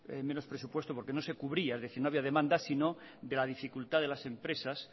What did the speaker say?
menos presupuestos porque no se cubría es decir no había demanda sino de la dificultad de las empresas